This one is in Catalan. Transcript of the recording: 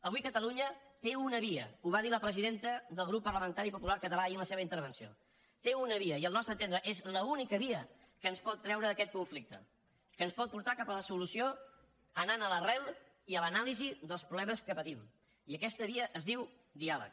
avui catalunya té una via ho va dir la presidenta del grup parlamentari popular català ahir en la seva intervenció té una via i al nostre entendre és l’única via que ens pot treure d’aquest conflicte que ens pot portar cap a la solució anant a l’arrel i a l’anàlisi dels problemes que patint i aquesta via es diu diàleg